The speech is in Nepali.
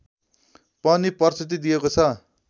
पनि प्रस्तुति दिइएको छ